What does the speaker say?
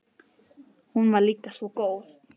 Hún var líka svo góð.